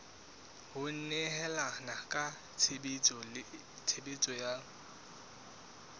ho nehelana ka tshebeletso ya